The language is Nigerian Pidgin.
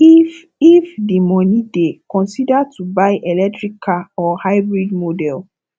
if if di money dey consider to buy electric car or hybrid model